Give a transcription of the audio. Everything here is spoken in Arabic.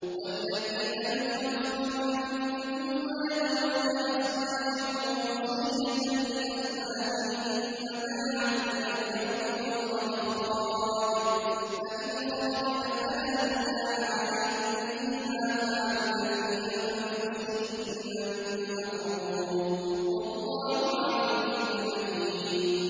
وَالَّذِينَ يُتَوَفَّوْنَ مِنكُمْ وَيَذَرُونَ أَزْوَاجًا وَصِيَّةً لِّأَزْوَاجِهِم مَّتَاعًا إِلَى الْحَوْلِ غَيْرَ إِخْرَاجٍ ۚ فَإِنْ خَرَجْنَ فَلَا جُنَاحَ عَلَيْكُمْ فِي مَا فَعَلْنَ فِي أَنفُسِهِنَّ مِن مَّعْرُوفٍ ۗ وَاللَّهُ عَزِيزٌ حَكِيمٌ